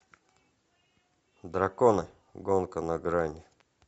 драконы гонка на грани